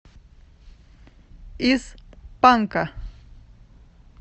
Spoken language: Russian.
из панка